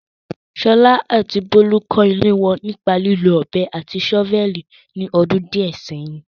Sola àti Bolu kọ́ ilé wọn nípa lílo ọ̀bẹ àti ṣọ́fẹ́ẹ̀lì ní ọdún díẹ̀ sẹ́yìn.